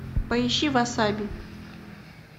поищи васаби